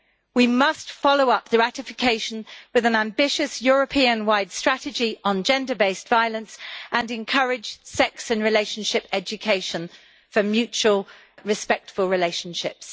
We must follow up the ratification with an ambitious European wide strategy on gender based violence and encourage sex and relationship education for mutual, respectful relationships.